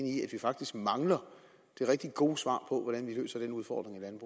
i at vi faktisk mangler det rigtig gode svar på hvordan vi løser den udfordring